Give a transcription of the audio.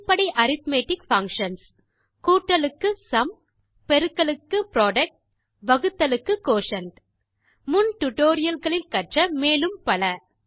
அடிப்படை arithmetic functions கூட்டலுக்கு sum பெருக்கலுக்கு புரொடக்ட் வகுத்தலுக்கு குயோட்டியன்ட் முன் டியூட்டோரியல் களில் கற்ற மேலும் பல